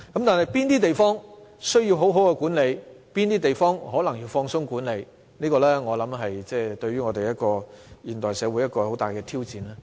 至於哪些地方需要妥善管理，哪些地方需要寬鬆管理，我相信這是現代社會的一大挑戰。